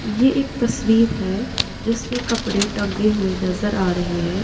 ये एक तस्वीर है जिसमें कपड़े टंगे हुए नज़र आ रहे हैं।